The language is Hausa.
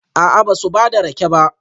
A'a, ba su ba da rake ba